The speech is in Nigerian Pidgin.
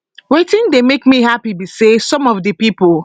wetin dey make me happy be say some of di pipo